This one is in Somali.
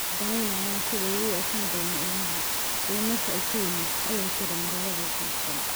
Ma danaynayn sida uu u ekaan doono ilmahan, iyo meesha uu ka yimid," ayay tiri Marwada. Gibson.